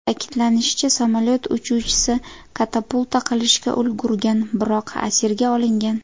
Ta’kidlanishicha, samolyot uchuvchisi katapulta qilishga ulgurgan, biroq asirga olingan.